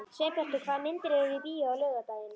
Sveinbjartur, hvaða myndir eru í bíó á laugardaginn?